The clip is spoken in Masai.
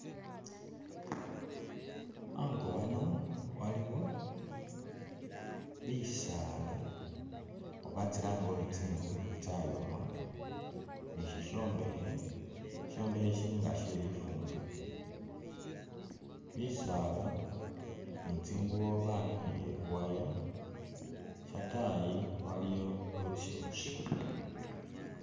Ango ano waliwo bisaala oba tsilange uri tsingu tsayoma, ni shishombekhe, shishombekhe shili nga she lifumbilo, bisaala, ni tsingubo banikhiye khu waya, shatayi waliyo lukyingi